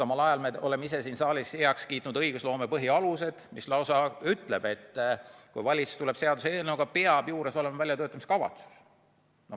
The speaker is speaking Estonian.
Me ju oleme ise siin saalis heaks kiitnud õigusloome põhialused, kus on lausa öeldud, et kui valitsus tuleb seaduseelnõuga, peab juures olema väljatöötamiskavatsus.